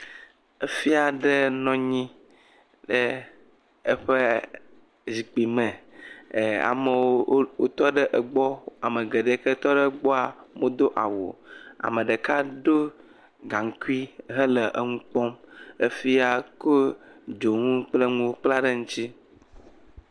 Efia ɖe nɔnyi ɖe eƒe zikpui me, amowo otɔ ɖe egbɔ, ame geɖe ke tɔ ɖe gbɔa, mo do awuo, ameɖeka do gaŋkui hele eŋu kpɔm, efia ko dzoŋu kple ŋuwo kpla ɖe ŋutsi.